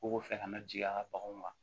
Ko fɛ ka na jigin a ka baganw ma